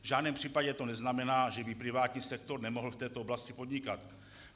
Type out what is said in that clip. V žádném případě to neznamená, že by privátní sektor nemohl v této oblasti podnikat.